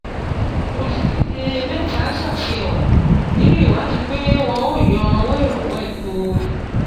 Olúdíje méta ṣáfihàn ninú ìwadí pé wọn ó yọ owó ìrànwọ́ epo.